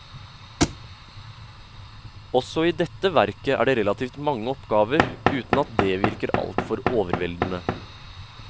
Også i dette verket er det relativt mange oppgaver, uten at det virker altfor overveldende.